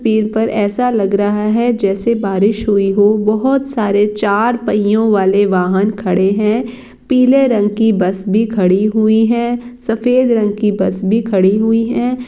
पीर पर ऐसा लग रहा है जैसे बारिश हुई हो। बोहोत सारे चार पहियो वाले वाहन खङे है पीले रंग की बस भी खड़ी हुई है सफेद रंग की बस भी खड़ी हुई हे।